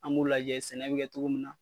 An b'u lajɛ sɛnɛ be kɛ togo mun na